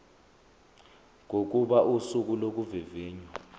kokuba usuku lokuvivinywa